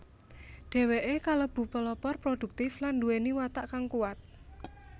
Dheweke kalebu pelopor produktif lan nduweni watak kang kuwat